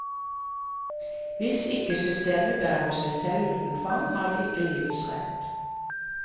Hvis ikke systemet bærer seg selv uten tvang, har det ikke livets rett.